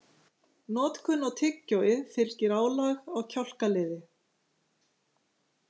Notkun á tyggjói fylgir álag á kjálkaliði.